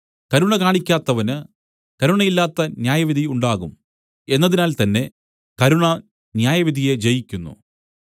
കരുണ കാണിക്കാത്തവന് കരുണയില്ലാത്ത ന്യായവിധി ഉണ്ടാകും എന്നതിനാൽ തന്നെ കരുണ ന്യായവിധിയെ ജയിക്കുന്നു